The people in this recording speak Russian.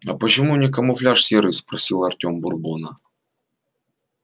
а почему у них камуфляж серый спросил артём бурбона